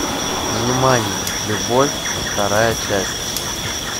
внимание любовь вторая часть